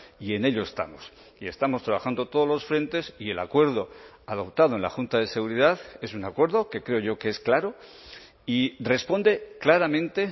y en ello estamos y estamos trabajando todos los frentes y el acuerdo adoptado en la junta de seguridad es un acuerdo que creo yo que es claro y responde claramente